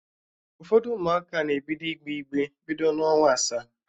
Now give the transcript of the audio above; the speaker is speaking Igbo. Ụfọdụ Ụmụaka na-ebido igbe igbe bido n'ọnwa asaa